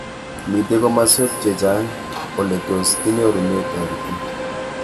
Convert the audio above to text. Mitei komaswek che chang' ole tos kinyorune taretet.